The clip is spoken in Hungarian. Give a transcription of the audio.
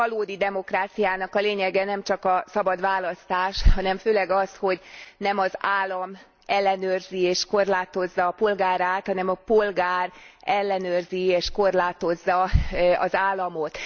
A valódi demokráciának a lényege nemcsak a szabad választás, hanem főleg az, hogy nem az állam ellenőrzi és korlátozza polgárát, hanem a polgár ellenőrzi és korlátozza az államot.